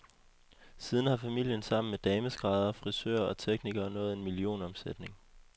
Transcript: Siden har familien sammen med dameskræddere, frisører og teknikere nået en millionomsætning.